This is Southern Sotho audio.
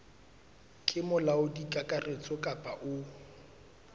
ke molaodi kakaretso kapa o